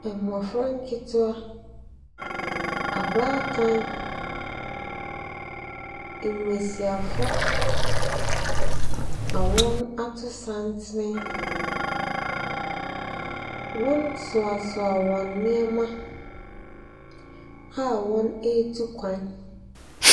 Mmofra nkeetewa, abaatan, mbesiafo, na wɔato santene. Wɔsoasoa wɔn nneɛma a wɔretu kwan.